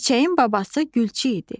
Çiçəyin babası gülçü idi.